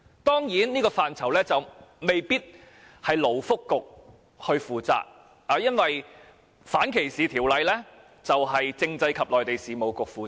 當然，這範疇未必是由勞福局負責的，因為反歧視條例是由政制及內地事務局負責的。